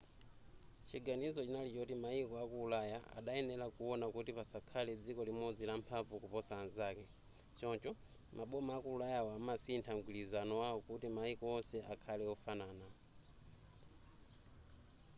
chiganizo chinali choti mayiko aku ulaya adayenera kuona kuti pasakhale dziko limodzi lamphamvu kuposa anzake choncho maboma aku ulayawo amasintha mgwirizano wawo kuti mayiko onse akhale ofanana